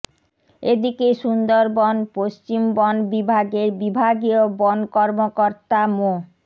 এদিকে সুন্দরবন পশ্চিম বন বিভাগের বিভাগীয় বন কর্মকর্তা মো